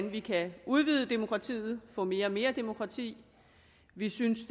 vi kan udvide demokratiet få mere og mere demokrati vi synes